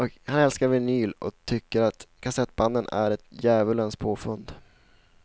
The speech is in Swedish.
Han älskar vinyl och tycker att kassettbanden är ett djävulens påfund.